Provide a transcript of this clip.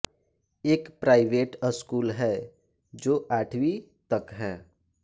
एक private school है जो आठवीं तक है